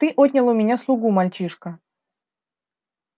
ты отнял у меня слугу мальчишка